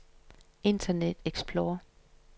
internet explorer